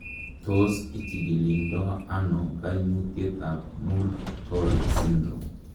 Tos kichikildo ono koimutietab Muir Torre syndrom?